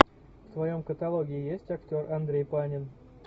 в твоем каталоге есть актер андрей панин